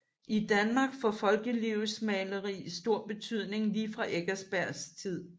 I Danmark får folkelivsmaleri stor betydning lige fra Eckersbergs tid